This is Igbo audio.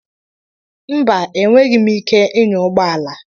Mba, enweghị m ike ịnya ụgbọ ala.